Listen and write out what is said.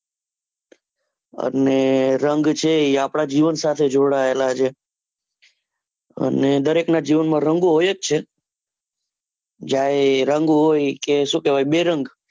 અને રંગ છે એ આપણા જીવન સાથે જોડાયેલા છે, અને દરેક ના જીવન માં રંગો હોય જ છે, જયારે રંગ હોય એટલે સુ કેવાય બેરંગ